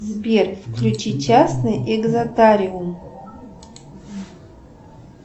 сбер включи частный экзотариум